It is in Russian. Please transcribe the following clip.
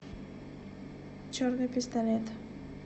черный пистолет